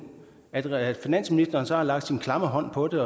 at at finansministeren så har lagt sin klamme hånd på det